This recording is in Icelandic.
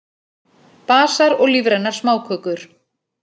Basar og lífrænar smákökur